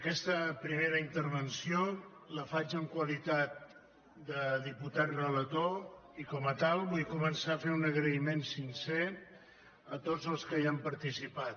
aquesta primera intervenció la faig en qualitat de diputat relator i com a tal vull començar fent un agraïment sincer a tots els que hi han participat